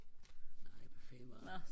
nej hvad faen var det